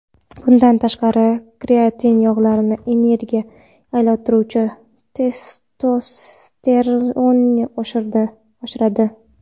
Bundan tashqari, kreatin yog‘larni energiyaga aylantiruvchi testosteronni oshiradi.